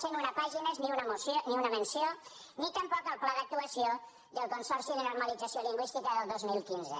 cent una pàgines ni una menció ni tampoc del pla d’actuació del consorci de normalització lingüística del dos mil quinze